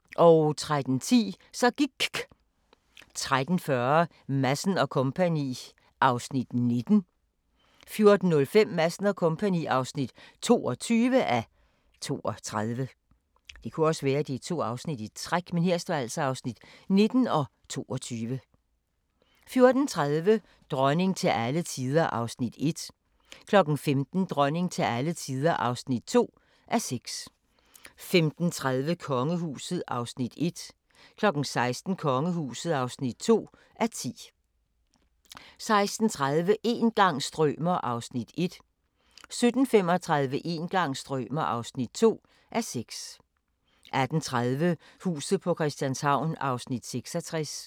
13:10: Så gIKK 13:40: Madsen & Co. (19:32) 14:05: Madsen & Co. (22:32) 14:30: Dronning til alle tider (1:6) 15:00: Dronning til alle tider (2:6) 15:30: Kongehuset (1:10) 16:00: Kongehuset (2:10) 16:30: Een gang strømer ... (1:6) 17:35: Een gang strømer ... (2:6) 18:30: Huset på Christianshavn (66:84)